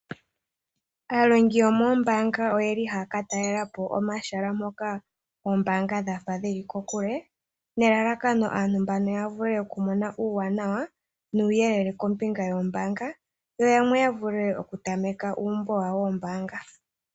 Aalongi yomoombanga oyeli haya ka talelapo omahala mpoka ombaanga dha fa dhi li kokule nelalakano aantu mbano ya vule okumona uuwanawa nuuyelele kombinga yombaanga yo yamwe ya vule okutameka uumbo wawo wombaanga.